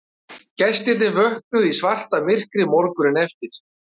Gestirnir vöknuðu í svartamyrkri morguninn eftir